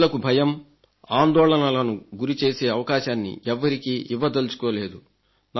రైతులకు భయం ఆందోళనలకు గురిచేసే అవకాశాన్ని ఎవ్వరికీ ఇవ్వదల్చుకోలేదు